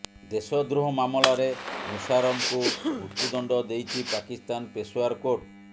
ଦେଶଦ୍ରୋହ ମାମଲାରେ ମୁସାରଫଙ୍କୁ ମୃତ୍ୟୁଦଣ୍ଡ ଦେଇଛି ପାକିସ୍ତାନ ପେଶାୱାର କୋର୍ଟ